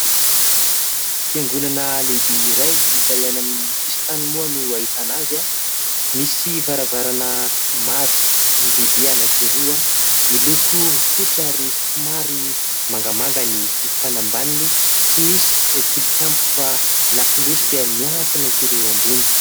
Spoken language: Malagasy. Fiangonana lehibe iray izay any amin'ny sisin-tany moa no ahitana azy. Misy varavarana maro lehibe anankiroa, miloko fotsy ary somary mangamanga ambaniny ; tsy misy tilikambo fa lakolosy hita miantona kely eo ambony.